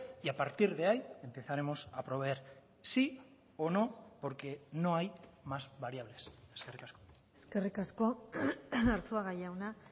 y a partir de ahí empezaremos a proveer sí o no porque no hay más variables eskerrik asko eskerrik asko arzuaga jauna